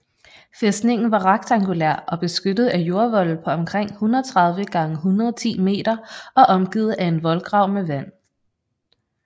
Fæstningen var rektangulær og beskyttet af jordvolde på omkring 130 x 110 m og omgivet af en voldgrav med vand